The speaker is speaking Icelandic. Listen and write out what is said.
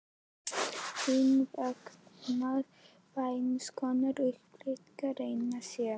Hins vegar er vændiskonan uppspretta reynslu sem